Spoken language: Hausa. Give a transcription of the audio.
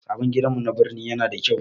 Sabon gidanmu na birni yana da kyau.